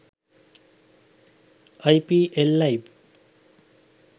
ipl live